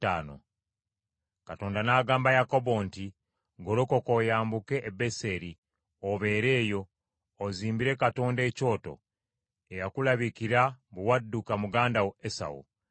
Katonda n’agamba Yakobo nti, “Golokoka oyambuke e Beseri, obeere eyo, ozimbire Katonda ekyoto, eyakulabikira bwe wadduka muganda wo Esawu.”